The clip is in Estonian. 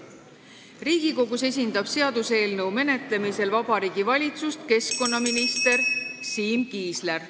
Riigikogus esindab seaduseelnõu menetlemisel Vabariigi Valitsust keskkonnaminister Siim Kiisler.